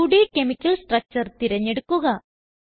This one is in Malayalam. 2ഡ് കെമിക്കൽ സ്ട്രക്ചർ തിരഞ്ഞെടുക്കുക